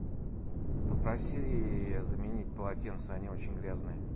попроси заменить полотенца они очень грязные